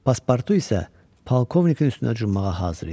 Paspartu isə polkovnikin üstünə cummağa hazır idi.